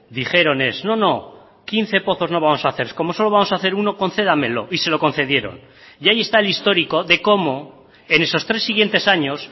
dijeron es no no quince pozos no vamos a hacer como solo vamos a hacer uno concédamelo y se lo concedieron y ahí está el histórico de cómo en esos tres siguientes años